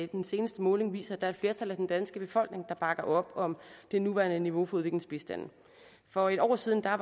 den seneste måling viser at der er et flertal af den danske befolkning der bakker op om det nuværende niveau for udviklingsbistanden for et år siden var